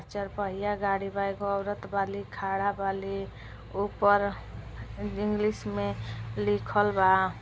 चार पहिया गाडी बा एगो औरत बाली खड़ा बाली ऊपर इंग्लिश में लिखल बा।